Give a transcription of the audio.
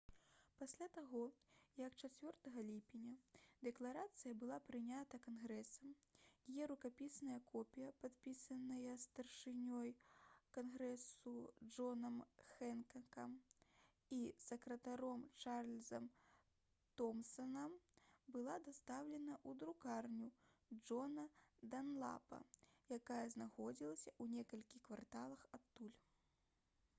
пасля таго як 4 ліпеня дэкларацыя была прынята кангрэсам яе рукапісная копія падпісаная старшынёй кангрэсу джонам хэнкакам і сакратаром чарльзам томсанам была дастаўлена ў друкарню джона данлапа якая знаходзілася ў некалькіх кварталах адтуль